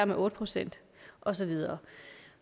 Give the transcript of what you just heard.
med otte procent og så videre